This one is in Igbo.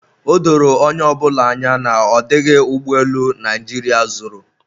o doro onye ọbụla anya na ọ dịghị ụgbọelu Naijiria zụrụ